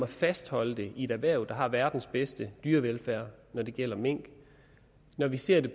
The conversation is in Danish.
fastholde den i et erhverv der har verdens bedste dyrevelfærd når det gælder mink og når vi ser det